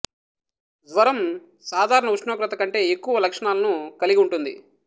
జ్వరం సాధారణ ఉష్ణోగ్రత కంటే ఎక్కువ లక్షణాలను కలిగి ఉంటుంది